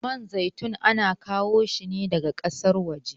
Man zaitun ana kawo shine daga kasan waje